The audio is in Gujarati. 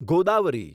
ગોદાવરી